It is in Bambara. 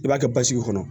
I b'a kɛ basigi kɔnɔ